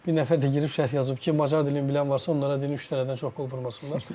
Bir nəfər də girib şərh yazıb ki, Macar dilini bilən varsa onlara deyin üç dənədən çox pul vurmasınlar.